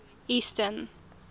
eastern